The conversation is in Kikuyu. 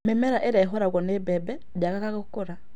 Mĩmera ĩrĩa ĩhũragwo nĩ mbembe ĩtiagaga gũkũra